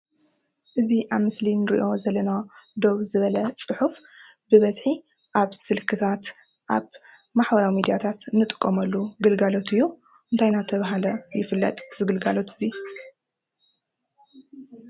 እዚ አብ ምስሊ እንሪኦ ዘለና ደው ዝበለ ፁሑፍ ብበዚሒ አብ ስልክታት አብ ማሕበራዊ ሚድያታተ ንጥቀመሉ ግለጋሎት እዩ እንታይ እናተባሀለ ይፈለጥ እዚ ግለጋሎት እዚ?